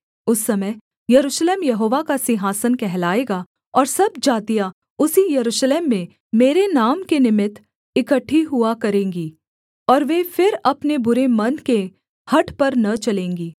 उस समय यरूशलेम यहोवा का सिंहासन कहलाएगा और सब जातियाँ उसी यरूशलेम में मेरे नाम के निमित्त इकट्ठी हुआ करेंगी और वे फिर अपने बुरे मन के हठ पर न चलेंगी